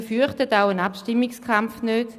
Wir fürchten auch einen Abstimmungskampf nicht.